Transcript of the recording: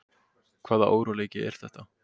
Hvaða óróleiki er þetta?